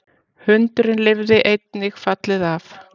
Hundurinn lifði einnig fallið af